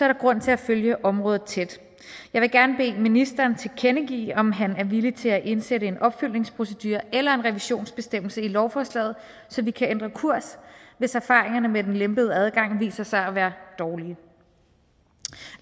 der grund til at følge området tæt jeg vil gerne bede ministeren tilkendegive om han er villig til at indsætte en opfølgningsprocedure eller en revisionsbestemmelse i lovforslaget så vi kan ændre kurs hvis erfaringerne med den lempede adgang viser sig at være dårlige